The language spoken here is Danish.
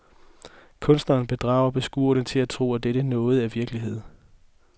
Kunstneren bedrager beskueren til at tro, at dette noget er virkelighed.